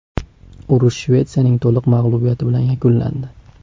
Urush Shvetsiyaning to‘liq mag‘lubiyati bilan yakunlandi.